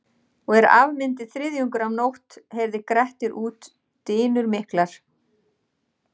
Og er af myndi þriðjungur af nótt heyrði Grettir út dynur miklar.